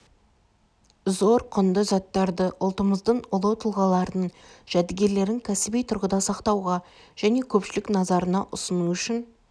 зор құнды заттарды ұлтымыздың ұлы тұлғаларының жәдігерлерін кәсіби тұрғыда сақтауға және көпшілік назарына ұсыну үшін